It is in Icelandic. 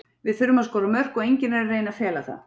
Við þurfum að skora mörk og enginn er að reyna að fela það.